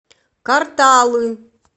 карталы